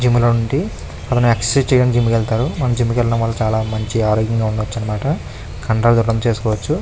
Gym లో నుండి అతను ఎక్సర్ సైజు చెయ్యడానికి జిమ్ కి వెళ్తారు. మనకి జిమ్ కి వెళ్ళడం వల్లమంచి ఆరోగ్యంగా ఉండచ్చు అన్న మాట. ఈ కండరాలు గట్ట్ట పనిచేసుకోవచ్చు.